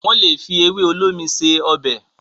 wón lè fi ewe olómi ṣe Ọbẹ̀